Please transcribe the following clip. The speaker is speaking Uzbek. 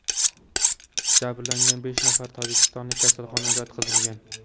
Jabrlangan besh nafar tojikistonlik kasalxonaga yotqizilgan.